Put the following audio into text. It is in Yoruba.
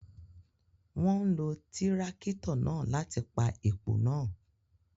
Wọ́n lo Tírákítọ̀ náà láti gbẹ́ èpò náà.